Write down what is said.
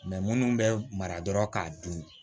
minnu bɛ mara dɔrɔn k'a dun